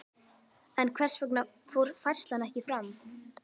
En hvers vegna fór færslan ekki fram?